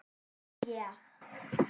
Nú ég.